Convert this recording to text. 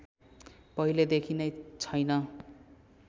पहिलेदेखि नै छैन